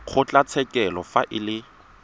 wa kgotlatshekelo fa e le